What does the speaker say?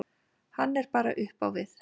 Hann er bara upp á við.